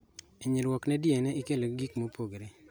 Inyruok ne DNA ikelo gi gigo mopogore